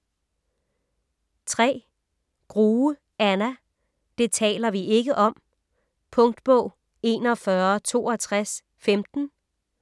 Grue, Anna: Det taler vi ikke om Punktbog 416215